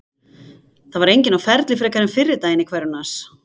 Það var enginn á ferli frekar en fyrri daginn í hverfinu hans.